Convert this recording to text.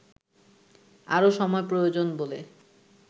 আরও সময় প্রয়োজন বলে